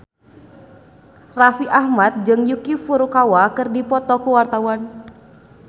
Raffi Ahmad jeung Yuki Furukawa keur dipoto ku wartawan